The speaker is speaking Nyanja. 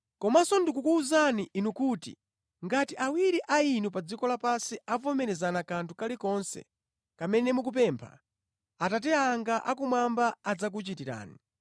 “Komanso ndikukuwuzani inu kuti ngati awiri a inu pa dziko lapansi avomerezana kanthu kalikonse kamene mukapempha, Atate anga akumwamba adzakuchitirani.